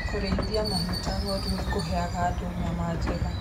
Kũrĩithia mahiu ta ng'ondu nĩ kũheaga andũ nyama njega.